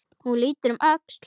Hún lítur um öxl.